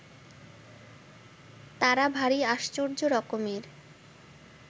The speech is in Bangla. তারা ভারি আশ্চর্যরকমের